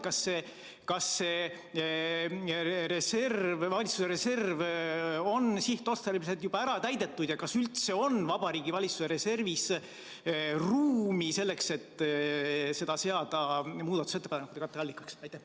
Kas see valitsuse reserv on sihtotstarbeliselt juba ära täidetud ja kas üldse on Vabariigi Valitsuse reservis ruumi selleks, et seda seada muudatusettepanekute katteallikaks?